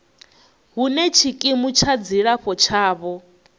hune tshikimu tsha dzilafho tshavho